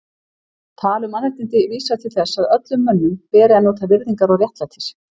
Tal um mannréttindi vísar til þess að öllum mönnum beri að njóta virðingar og réttlætis.